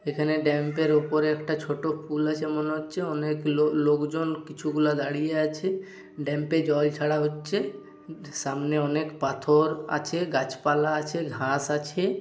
এখানে ড্যাম্পের উপরে একটা ছোট পুল আছে মনে হচ্ছে অনেক লো-লোক জন কিছু গুলা দাঁড়িয়ে আছে ড্যাম্পে জল ছাড়া হচ্ছে সামনে অনেক পাথর আছে গাছপালা আছে ঘাস আছে।